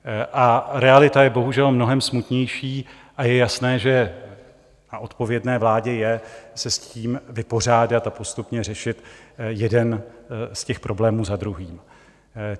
A realita je bohužel mnohem smutnější a je jasné, že na odpovědné vládě je se s tím vypořádat a postupně řešit jeden z těch problémů za druhým.